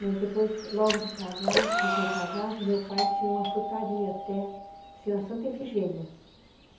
Mas depois, logo de casados, recém-casados, meu pai tinha uma frutaria até, na Santa Efigênia.